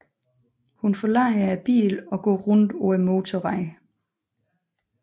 Hun forlader bilen og gå rundt på motorvejen